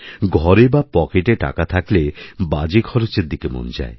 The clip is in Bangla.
ঘরে বা পকেটে টাকা থাকলে বাজেখরচের দিকে মন যায়